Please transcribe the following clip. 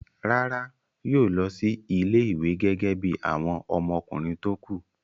Rárá, yóò lọ sí ilé-ìwé gẹ́gẹ́ bí àwọn ọmọkùnrin tó kù.